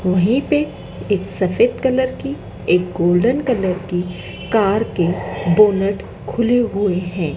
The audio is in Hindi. वहीं पे एक सफेद कलर की एक गोल्डन कलर की कार के बोनट खुले हुए हैं।